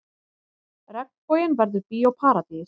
Regnboginn verður Bíó Paradís